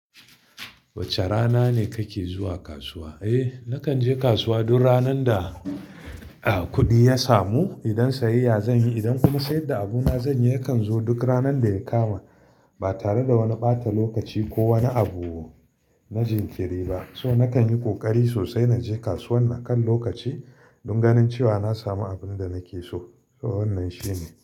Wace rana ne kake zuwa kasuwa? Eh, nakan je kasuwa duk ranan da, ah, kuɗi ya samu idan sayayya zan yi. Idan kuma sayar da abuna zan yi yakan zo duk ranan da ya kama ba tare da wani ɓata lokaci ko wani abu na jinkiri ba. So nakan yi ƙoƙari sosai na je kasuwan na kan lokaci don ganin cewa na samu abun da nake so. So wannan shine.